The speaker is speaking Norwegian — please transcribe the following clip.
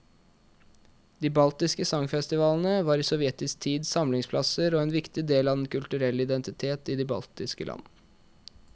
De baltiske sangfestivalene var i sovjetisk tid samlingsplasser og en viktig del av den kulturelle identitet i de baltiske land.